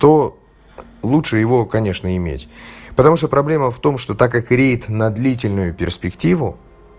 то лучше его конечно иметь потому что проблема в том что так как греет на длительную перспективу